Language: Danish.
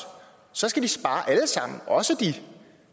og så skal de spare alle sammen også de